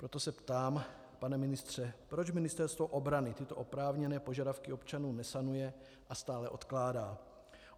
Proto se ptám, pane ministře, proč Ministerstvo obrany tyto oprávněné požadavky občanů nesanuje a stále odkládá.